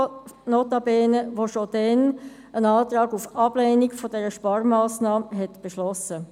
Diese hatte bereits damals einen Antrag auf Ablehnung dieser Sparmassnahme beschlossen.